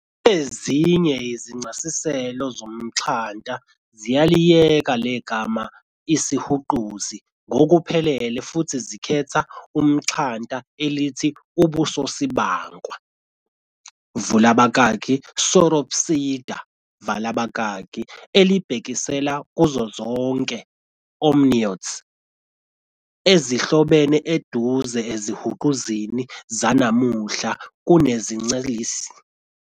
Ezinye izincasiselo zomtxhanta ziyaliyeka legama isihuquzi ngokuphelele futhi zikhetha umxhanta elithi ubusosibankwa, vula abakaki, "Sauropsida", vala abakaki, elibhekisela kuzo zonke "amniotes" ezihlobene eduze ezihuquzini zanamuhla kunezincelisi.